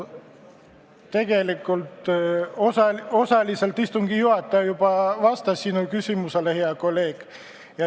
Tegelikult istungi juhataja osaliselt juba vastas sinu küsimusele, hea kolleeg.